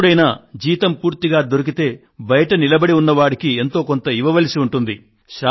ఎప్పుడైనా జీతం పూర్తిగా దొరికితే బయట నిలబడి ఉన్న వాడికి ఎంతో కొంత ఇవ్వవలసి ఉంటుంది